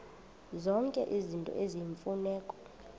zonke izinto eziyimfuneko